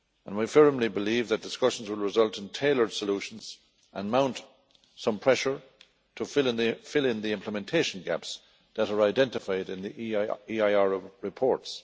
We firmly believe that discussions will result in tailored solutions and mount some pressure to fill in the implementation gaps that are identified in the EIR reports.